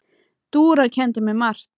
Dúra kenndi mér margt.